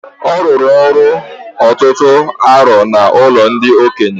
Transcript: Ọ rụrụ ọrụ ọtụtụ arọ n'ụlọ ndị okenye